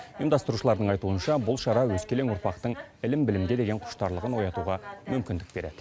ұйымдастырушылардың айтуынша бұл шара өскелең ұрпақтың ілім білімге деген құштарлығын оятуға мүмкіндік береді